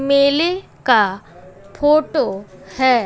मेले का फोटो है।